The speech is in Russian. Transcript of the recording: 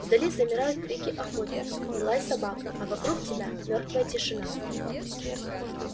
вдали замирают крики охотников и лай собак а вокруг тебя мёртвая тишина